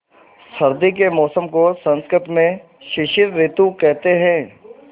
सर्दी के मौसम को संस्कृत में शिशिर ॠतु कहते हैं